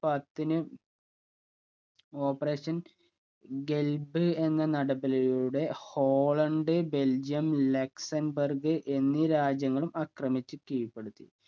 പത്തിന് operation ഖൽബ് എന്ന നടപടിലൂടെ ഹോളണ്ട് ബെൽജിയം ലക്സൺബർഗ് എന്നീ രാജ്യങ്ങളും ആക്രമിച്ചു കീഴ്‌പ്പെടുത്തി